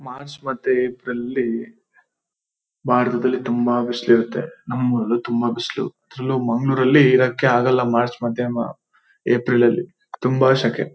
March ಮತ್ತೆ April ಅಲ್ಲಿ ಭಾರತದಲ್ಲಿ ತುಂಬ ಬಿಸಿಲು ಇರುತ್ತೆ ನಮ್ಮೂರಲ್ಲೂ ತುಂಬ ಬಿಸಿಲು ಅದ್ರಲ್ಲೂ ಮಂಗಳೂರಲ್ಲಿ ಇರೋಕೆ ಆಗಲ್ಲ ಮಾರ್ಚ್ ಮದ್ಯಾಹ್ನ ಏಪ್ರಿಲ್ ಅಲ್ಲಿ ತುಂಬಾ ಶೇಕೆ.